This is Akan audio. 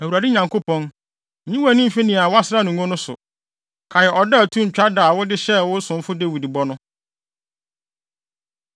“ Awurade Nyankopɔn, nyi wʼani mfi nea woasra no ngo no so. Kae ɔdɔ a ɛto ntwa da a wode hyɛɛ wo somfo Dawid bɔ no.”